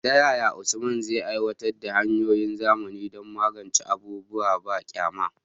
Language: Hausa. Ta yaya Usman zai aiwatar da hanyoyin zamani don magance abubuwan banƙyama?